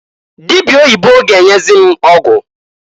Dịbịa oyibo ga-enyezi m ọgwụ.